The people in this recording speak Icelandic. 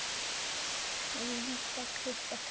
Og líka klippa tré.